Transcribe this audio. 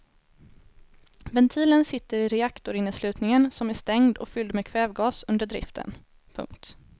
Ventilen sitter i reaktorinneslutningen som är stängd och fylld med kvävgas under driften. punkt